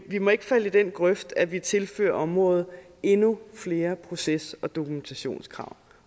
vi må ikke falde i den grøft at vi tilfører området endnu flere proces og dokumentationskrav